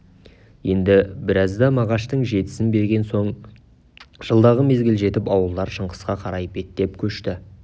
енді біразда мағаштың жетісін берген соң жылдағы мезгіл жетіп ауылдар шыңғысқа қарай беттеп көшті